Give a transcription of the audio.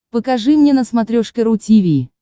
покажи мне на смотрешке ру ти ви